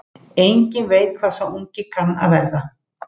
Enginn veit hvað sá ungi kann að verða.